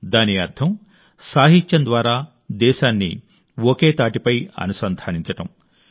దాని అర్థం సాహిత్యం ద్వారా దేశాన్ని అల్లడం అనుసంధానించడం